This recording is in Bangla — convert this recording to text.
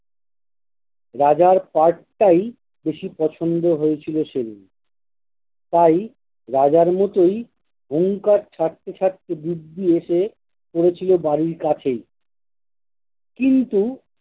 রাজার পার্টটাই বেশি পছন্দ হয়েছিল সেদিন তাই রাজার মতোই হুংকার ছাড়তে ছাড়তে দিব্যি এসে পড়েছিল বাড়ির কাছেই কিন্তু